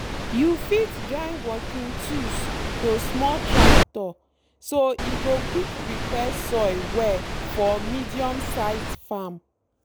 you fit join working tools to small tractor so e go quick prepare soil well for medium-size farm